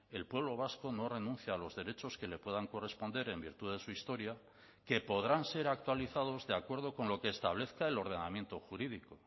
el pueblo vasco no renuncia a los derechos que le puedan corresponder en virtud de su historia que podrán ser actualizados de acuerdo con lo que establezca el ordenamiento jurídico